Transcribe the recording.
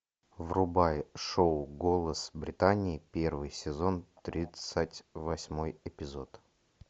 врубай шоу голос британии первый сезон тридцать восьмой эпизод